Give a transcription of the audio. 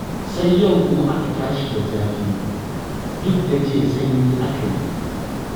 Sai yau kuma aka tashi da zafi, duk da jiya sanyi aka yi.